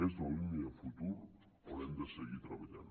és la línia de futur on hem de seguir treballant